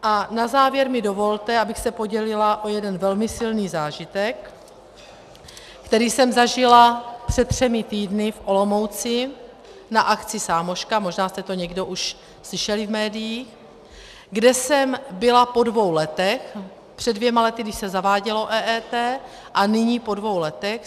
A na závěr mi dovolte, abych se podělila o jeden velmi silný zážitek, který jsem zažila před třemi týdny v Olomouci na akci SAMOŠKA, možná jste to někdo už slyšeli v médiích, kde jsem byla po dvou letech, před dvěma lety, když se zavádělo EET a nyní po dvou letech.